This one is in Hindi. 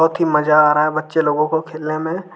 बहुत ही मजा आ रहा है बच्चे लोगों को खेलने में।